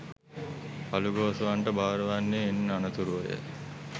අළුගෝසුවන්ට බාර වන්නේ ඉන් අනතුරුවය.